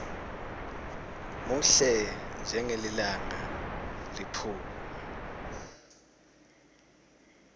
muhle njengelilanga liphuma